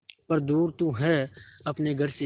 पर दूर तू है अपने घर से